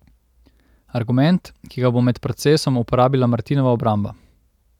Argument, ki ga bo med procesom uporabila Martinova obramba.